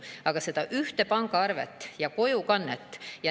Aga võiks olla üks pangaarve ja kojukanne.